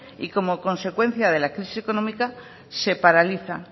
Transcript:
y como consecuencia de la crisis económica se paraliza